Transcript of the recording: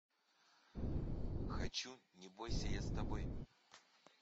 хочу не бойся я с тобой